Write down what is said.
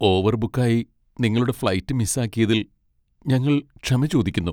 ഓവർബുക്കായി നിങ്ങളുടെ ഫ്ലൈറ്റ് മിസ്സാക്കിയതിൽ ഞങ്ങൾ ക്ഷമ ചോദിക്കുന്നു.